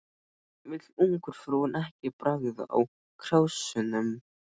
Vill ungfrúin ekki bragða á krásunum?